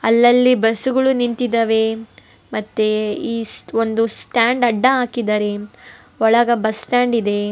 ಅಲ್ಲಲ್ಲಿ ಬಸ್ಸು ಗಳು ನಿಂತಿದಾವೆ ಮತ್ತೆ ಒಂದು ಸ್ಟ್ಯಾಂಡ್ ಅಡ್ಡ ಹಾಕಿದ್ದಾರೆ ಒಳಗೆ ಬಸ್ಸ್ ಸ್ಟ್ಯಾಂಡ್ ಇದೆ.